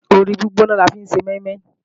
Ooru gbígbóná la fi ń ṣe mọ́ínmọ́ín